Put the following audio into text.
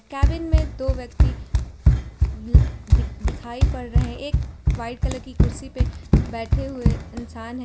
Cabin में दो व्यक्ति दिख दिखाई पड़ रहे हैं एक व्हाइट कलर की कुर्सी पे बैठे हुए इंसान है।